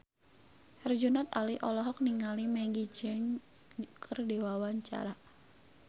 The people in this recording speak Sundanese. Herjunot Ali olohok ningali Maggie Cheung keur diwawancara